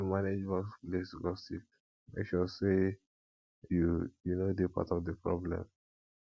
to manage workplace gossip just make sure say you you no dey part of di problem